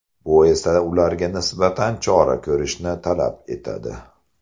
Bu esa ularga nisbatan chora ko‘rishni talab etadi.